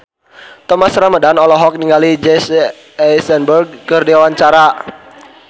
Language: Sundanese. Thomas Ramdhan olohok ningali Jesse Eisenberg keur diwawancara